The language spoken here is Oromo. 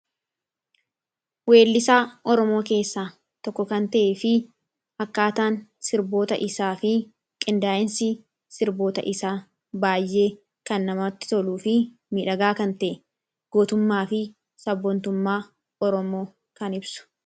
Weellisa Oromoo keessaa tokko kan ta'e fi akkaataan sirboota isaa fi qindaayinsii sirboota isaa baay'ee kan namatti toluu fi midhagaa kan ta'e gootummaa fi sabontummaa oromoo kan ibsu.